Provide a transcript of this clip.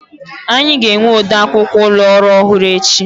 Anyị ga-enwe ode akwụkwọ ụlọ orụ ọhụrụ echi.